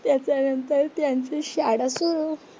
त्याच्यानंतर त्यांची शाळा सुरू.